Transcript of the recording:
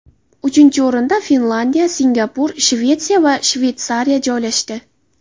Uchinchi o‘rinda Finlandiya, Singapur, Shvetsiya va Shveysariya joylashdi.